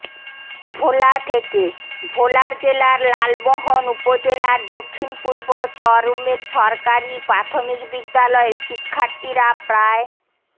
ভোলা থেকেঃ ভোলার জেলার লালমোহন উপজেলার দক্ষিণ পূর্ব চরউমেদ সরকারি প্রাথমিক বিদ্যালয়ের শিক্ষার্থীরা প্রায়